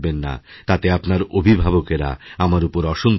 তাতে আপনারঅভিভাবকেরা আমার ওপর অসন্তুষ্ট হবেন